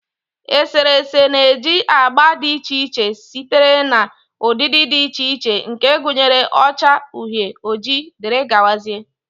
Eserese na-eji agba dị iche iche sitere na ụdịdị dị iche iche nke gụnyere ọcha, uhie, ojii wdg.